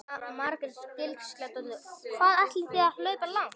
Jóhanna Margrét Gísladóttir: Hvað ætlið þið að hlaupa langt?